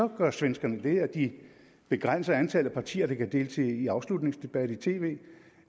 gør svenskerne det at de begrænser antallet af partier der kan deltage i afslutningsdebatter i tv